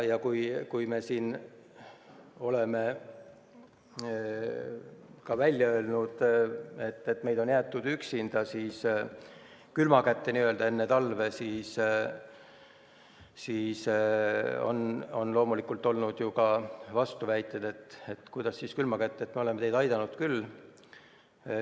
Kui me oleme siin välja öelnud, et meid on jäetud üksinda, enne talve n-ö külma kätte, siis on loomulikult esitatud vastuväiteid, et kuidas siis külma kätte, me oleme teid aidanud küll.